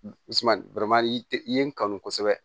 i ye n kanu kosɛbɛ